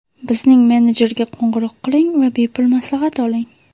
Bizning menejerga qo‘ng‘iroq qiling va bepul maslahat oling!